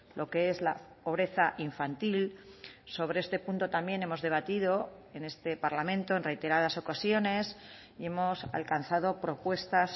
lo que es la pobreza infantil sobre este punto también hemos debatido en este parlamento en reiteradas ocasiones y hemos alcanzado propuestas